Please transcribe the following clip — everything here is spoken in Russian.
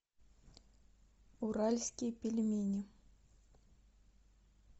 уральские пельмени